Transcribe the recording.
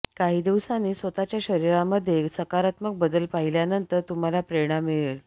काही दिवसांनी स्वतःच्या शरीरामध्ये सकारात्मक बदल पाहिल्यानंतर तुम्हाला प्रेरणा मिळेल